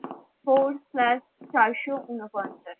four slash চারশো ঊনপঞ্চাশ